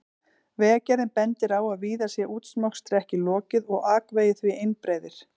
Vegagerðin bendir á að víða sé útmokstri ekki lokið og akvegir því einbreiðir.